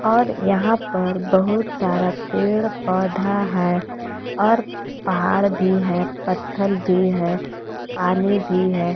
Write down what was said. और यहां पर बहुत सारा पेड़ पौधा है और पहाड़ भी है पत्थर भी है पानी भी है।